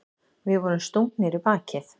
Við vorum stungnir í bakið.